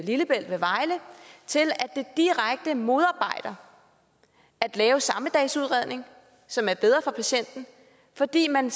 lillebælt ved vejle til direkte at modarbejde at lave samme dags udredning som er bedre for patienten fordi man